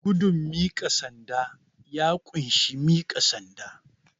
Gudun miƙa sanda, ya ƙunshi miƙa sanda.